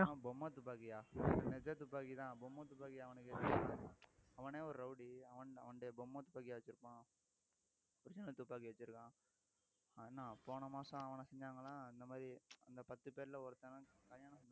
பொம்மை துப்பாக்கியா நிஜத் துப்பாக்கிதான் பொம்மை துப்பாக்கியா அவனுக்கு அவனே ஒரு rowdy பொம்மை துப்பாக்கியா வச்சிருப்பான் original துப்பாக்கி வச்சிருக்கான் அவன் என்ன போன மாசம் அவன செஞ்சாங்களா இந்த மாதிரி அந்த பத்து பேரிலே ஒருத்தன்